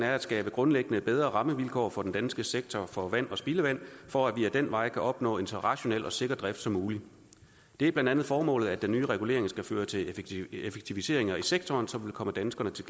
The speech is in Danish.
er at skabe grundlæggende bedre rammevilkår for den danske sektor for vand og spildevand for at vi ad den vej kan opnå en så rationel og sikker drift som muligt det er blandt andet formålet at den nye regulering skal føre til effektiviseringer i sektoren som vil komme danskerne til